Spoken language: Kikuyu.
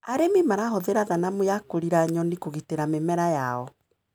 Arĩmi marahũthĩra thanamu ya kũriĩra nyoni kũgitĩra mĩmera yao.